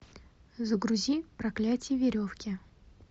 загрузи проклятие веревки